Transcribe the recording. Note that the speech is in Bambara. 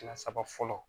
Kɛmɛ saba fɔlɔ